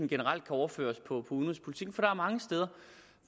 generelt kan overføres på udenrigspolitikken for der er mange steder